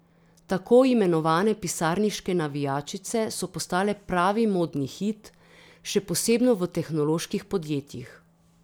Tako imenovane pisarniške navijačice so postale pravi modni hit, še posebno v tehnoloških podjetjih.